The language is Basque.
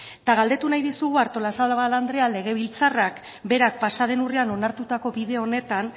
eta galdetu nahi dizugu artolazabal andrea legebiltzarrak berak pasa den urrian onartutako bide honetan